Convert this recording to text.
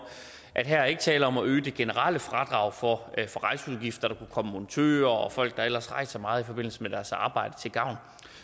at her er der ikke tale om at øge det generelle fradrag for rejseudgifter der kunne komme montører og folk der ellers rejser meget i forbindelse med deres arbejde til gavn